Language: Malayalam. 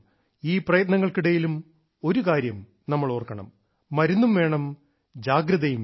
ഈ പ്രയത്നങ്ങൾക്കിടയിലും ഒരുകാര്യം നമ്മൾ ഓർക്കണം മരുന്നും വേണം ജാഗ്രതയും വേണം